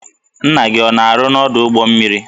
Nna gị ọ na-arụ n'ọdụ ụgbọ mmiri?